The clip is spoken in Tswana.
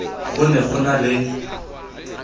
go ne go na le